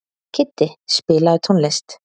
Kiddi, spilaðu tónlist.